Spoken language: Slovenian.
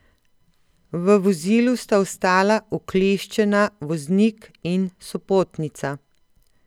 V vozilu sta ostala ukleščena voznik in sopotnica.